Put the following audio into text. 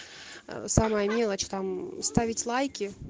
самая мелочь там ставить лайки